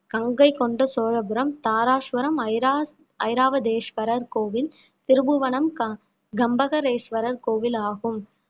கங்கை கொண்ட சோழபுரம் தாராசுரம் ஐரா~ ஐராவதேசுவரர் கோவில் திருபுவனம் கம்பக~ கம்பகரேசுவரர் கோவில் ஆகும்